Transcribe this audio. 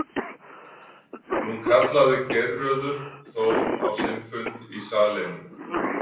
Nú kallaði Geirröður Þór á sinn fund í sal einum.